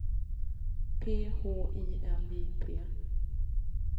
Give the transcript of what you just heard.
P H I L I P